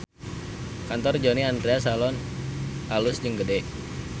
Kantor Johnny Andrean Salon alus jeung gede